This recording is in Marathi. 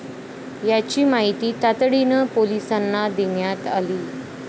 याची माहिती तातडीनं पोलिसांना देण्यात आली.